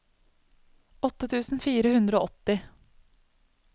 åtte tusen fire hundre og åtti